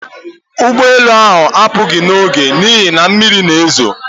Ụgbọ elu ahụ apụghị n'oge n'ihi na mmiri na-ezo